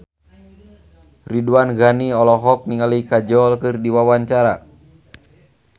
Ridwan Ghani olohok ningali Kajol keur diwawancara